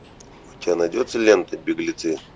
у тебя найдется лента беглецы